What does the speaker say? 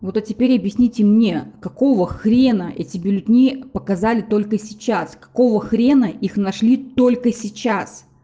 вот а теперь объясните мне какого хрена эти бюллетени показали только сейчас какого хрена их нашли только сейчас